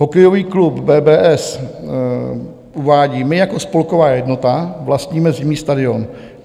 Hokejový klub BBSS uvádí: "My jako spolková jednota vlastníme zimní stadion.